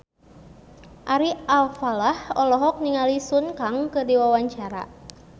Ari Alfalah olohok ningali Sun Kang keur diwawancara